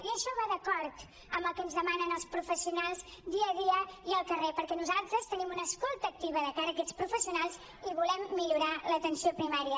i això va d’acord amb el que ens demanen els professionals dia a dia i al carrer perquè nosaltres tenim una escolta activa de cara a aquests professionals i volem millorar l’atenció primària